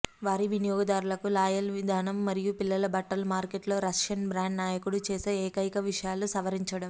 వారి వినియోగదారులకు లాయల్ విధానం మరియు పిల్లల బట్టలు మార్కెట్లో రష్యన్ బ్రాండ్ నాయకుడు చేసే ఏకైక విషయాలు సవరించడం